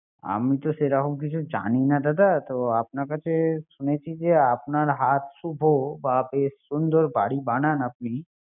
আমি তো সেরকম কিছু জানিনা দাদা। আপনার কাছে শুনেছি যে আপনার হাত শুভ বা বেশ সুন্দর বাড়ি বানান আপনি